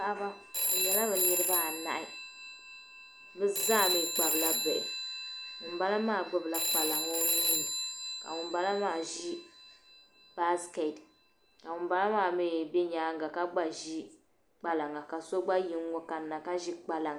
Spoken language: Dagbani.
Paɣaba be nyɛla niriba anahi be zaa mii Kpabi la bihi ŋun bala maa gbubi la kpalaŋa o nuu ni ka ŋun bala maa ʒi "basket" ka ŋun bala maa mii be nyaaŋa ka gba ʒi kpalaŋa ka so gba yi n-ŋɔ kanna ka ʒi kpalaŋa.